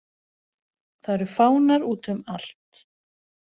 Það eru fánar útum allt.